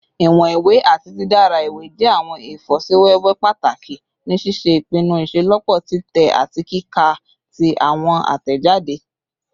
Iwọn iwe ati didara iwe jẹ awọn ifosiwewe pataki ni ṣiṣe ipinnu iṣelọpọ titẹ ati kika ti awọn atẹjade